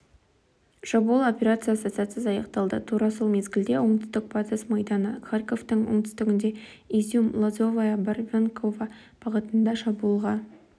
шабуыл операциясы сәтсіз аяқталды тура сол мезгілде оңтүстік батыс майданы харьковтың оңтүстігінде изюм-лозовая-барвенково бағытында шабуылға